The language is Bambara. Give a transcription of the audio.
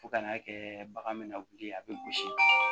Fo ka n'a kɛ bagan min na wuli a bɛ gosi